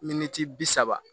Miniti bi saba